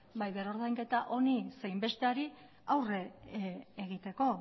bai berrordainketa honi zein besteari aurre egiteko